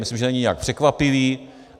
Myslím, že není nijak překvapivý.